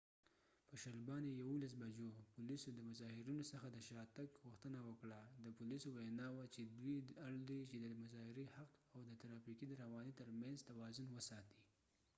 په 11:20 بجو پولیسو د مظاهرېنو څخه د شا تګ غوښتنه وکړه د پولیسو وينا وه چې دوي اړ دي چې د مظاهرې حق او د ترافیکو د روانی تر منځ توازن وساتي